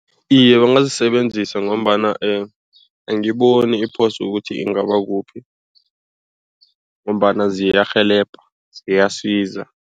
Iye ungazisebenzisa ngombana angiboni iphoso ukuthi ingaba kuphi ngombana ziyarhelebha ziyasiza.